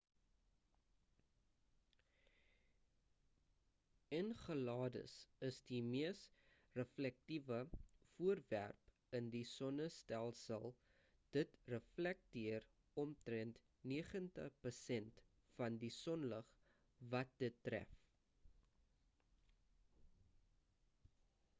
enceladus is die mees reflektiewe voorwerp in die sonnestelsel dit reflekteer omtrend 90 persent van die sonlig wat dit tref